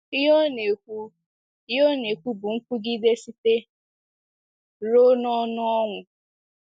Ihe ọ na-ekwu Ihe ọ na-ekwu bụ ịkwụgịdesite ruo n'ọnụ ọnwụ.